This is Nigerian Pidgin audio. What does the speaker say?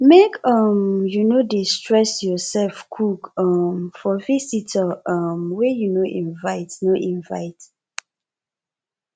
make um you no dey stress yoursef cook um for visitor um wey you no invite no invite